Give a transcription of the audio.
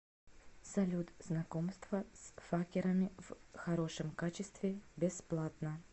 салют знакомство с факерами в хорошем качестве бесплатно